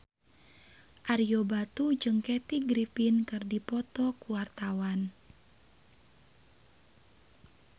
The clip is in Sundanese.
Ario Batu jeung Kathy Griffin keur dipoto ku wartawan